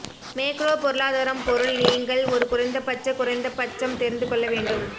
macro பொருளாதாரம் பொருள் நீங்கள் ஒரு குறைந்தபட்ச குறைந்தபட்சம் தெரிந்து கொள்ள வேண்டும்